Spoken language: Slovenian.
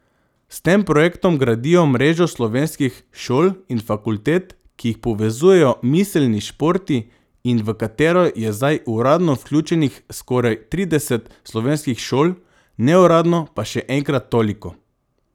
S tem projektom gradijo mrežo slovenskih šol in fakultet, ki jih povezujejo miselni športi in v katero je zdaj uradno vključenih skoraj trideset slovenskih šol, neuradno pa še enkrat toliko.